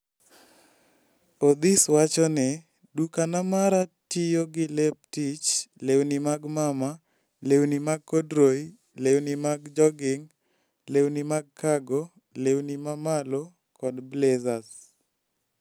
Odhis wacho ni: "Duka mara tiyo gi lep tich, lewni mag mama, lewni mag corduroy, lewni mag jogging, lewni mag cargo, lewni mamalo, kod blazers.